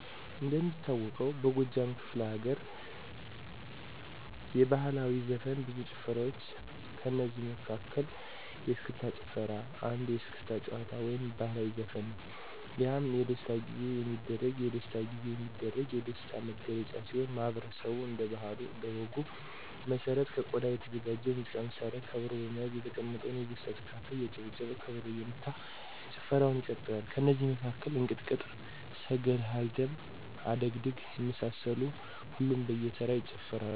እንደሚታወቀው በጎጃም ክፍለ ለገርየባህላዊ ዘፈን ብዙ ጭፈራዋ ጭፈራዋች ከእነዚህ መለ መሀከል የስክስታጭፈራ አንዱየስክስታ ጭዋታ ወይም ባህልዊ ዘፈንነዉ። የህም የደስታጊዜ የሚደረግ የደሥታ ጊዜየሚደረግ የደሥታ ነግለጫ ሲሆን ማህበረሠቡ እንደ ባህለ እኔ ወግ መሠረት ከቆዳ የተዘጋጀ የሙዚቃ መሳሪያ ከበሮ በመያዝ የተቀመጠው የደስታ ተካፋይ እያጨበጨበ ከበሮ እየመታ ጭፈረዉን ይቀጥላል። ከነዚ መካከል እንቅጥቅጥ፣ ስገሐልድም፣ አደግድግ የመሳሰሉትን ሁሉም በየተራ ይጨፍራሉ።